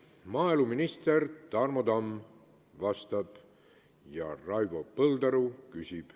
Vastab maaeluminister Tarmo Tamm ja küsib Raivo Põldaru.